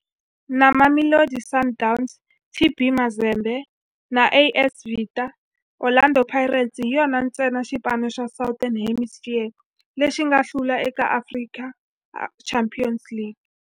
Na Mamelodi Sundowns, TP Mazembe na AS Vita, Orlando Pirates hi yona ntsena xipano xa Southern Hemisphere lexi nga hlula eka African Champions League.